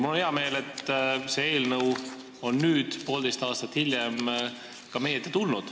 Mul on hea meel, et see eelnõu on nüüd, poolteist aastat hiljem, meie ette tulnud.